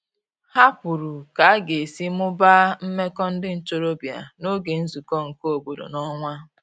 Ha kwuru ka aga esi mụbaa meko ndi ntorobia n'oge nzuko nke obodo n'onwa